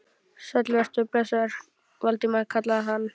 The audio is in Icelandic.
Sæll vertu og blessaður, Valdimar kallaði hann.